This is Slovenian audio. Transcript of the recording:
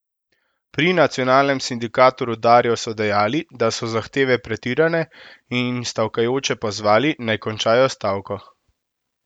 Pri nacionalnem sindikatu rudarjev so dejali, da so zahteve pretirane, in stavkajoče pozvali, naj končajo stavko.